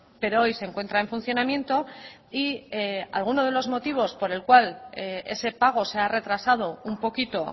pero hoy se encuentra en funcionamiento y alguno de los motivos por el cual ese pago se ha retrasado un poquito